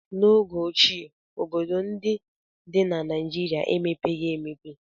N'oge ochie, obodo ndị dị na Naịjirịa emepeghị emepe.